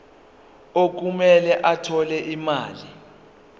okumele athole imali